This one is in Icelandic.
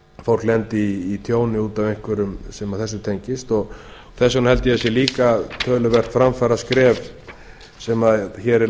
fólk lendi í tjóni út af einhverju sem þessu tengist þess vegna held ég að það sé líka töluvert framfaraskref sem hér er